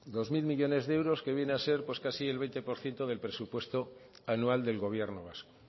dos mil millónes de euros que viene a ser casi el veinte por ciento del presupuesto anual del gobierno vasco